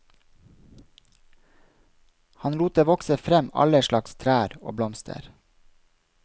Han lot det vokse frem alle slags trær og blomster.